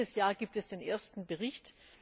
Dieses Jahr gibt es den ersten Bericht.